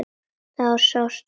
Þar sást sólin fyrr.